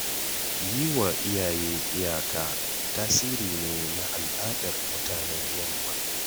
Yi wa iyaye iyaka tasiri ne na al'adar mutanen yamma.